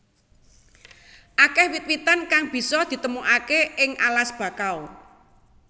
Akeh wit witan kang bisa ditemokaké ing alas bakau